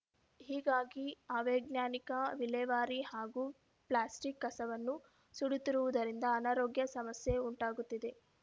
ಹೀಗಾಗಿ ಅವೈಜ್ಞಾನಿಕ ವಿಲೇವಾರಿ ಹಾಗೂ ಪ್ಲಾಸ್ಟಿಕ್‌ ಕಸವನ್ನು ಸುಡುತ್ತಿರುವುದರಿಂದ ಅನಾರೋಗ್ಯ ಸಮಸ್ಯೆ ಉಂಟಾಗುತ್ತಿದೆ